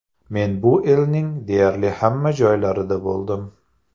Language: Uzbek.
Men bu elning deyarli hamma joylarida bo‘ldim.